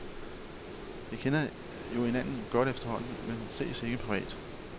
Vi kender jo hinanden godt efterhånden, men vi ses ikke privat.